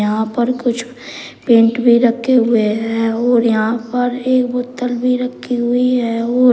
यहां पर कुछ पेंट भी रखे हुए हैं और यहां पर एक बोतल भी रखी हुई है और--